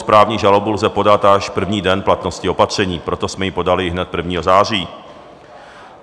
Správní žalobu lze podat až první den v platnosti opatření, proto jsme ji podali hned 1. září.